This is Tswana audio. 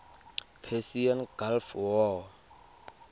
persian gulf war